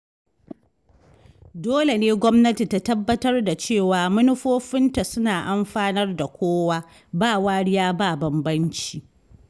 Dole ne gwamnati ta tabbatar da cewa manufofinta suna amfanar da kowa ba wariya ba bambanci.